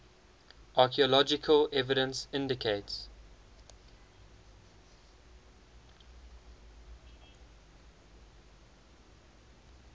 archaeological evidence indicates